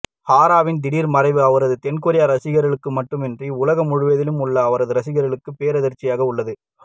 ஹாராவின் திடீர் மறைவு அவரது தென்கொரிய ரசிகர்களுக்கு மட்டுமின்றி உலகம் முழுவதிலும் உள்ள அவரது ரசிகர்களுக்கு பேரதிர்ச்சியாக உள்ளது